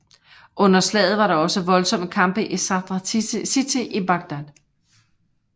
Under slaget var der også voldsomme kampe i Sadr City i Bagdad